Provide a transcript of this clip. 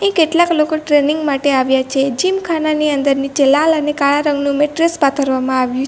કેટલાક લોકો ટ્રેનિંગ માટે આવ્યા છે જીમ ખાનાની અંદર નીચે લાલ અને કાળા રંગનું મેટ્રેસ પાથરવામાં આવ્યું --